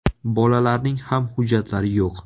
Bolalarning ham hujjatlari yo‘q.